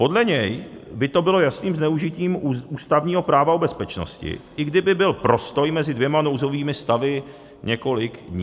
Podle něj by to bylo jasným zneužitím ústavního práva o bezpečnosti, i kdyby byl prostoj mezi dvěma nouzovými stavy několik dní.